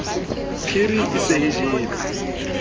phiri e se e jele